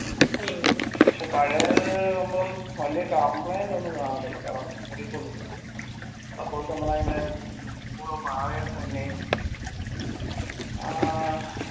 പക്ഷെ പഴേത് ആവുമ്പം വെല്യ complaint ഒന്നും കാണതില്ല ചെലപ്പം നമ്മളയിൻറെ താഴെ തന്നെയു ഏർ